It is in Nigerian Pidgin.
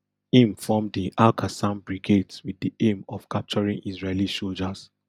im form di alqassam brigades wit di aim of capturing israeli soldiers